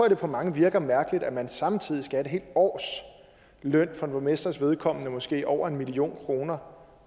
at det på mange virker mærkeligt at man samtidig skal have et helt års løn som borgmesters vedkommende måske over en million kroner